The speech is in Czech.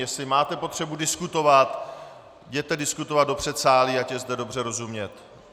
Jestli máte potřebu diskutovat, jděte diskutovat do předsálí, ať je zde dobře rozumět.